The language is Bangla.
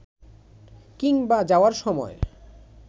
কিংবা যাওয়ার সময়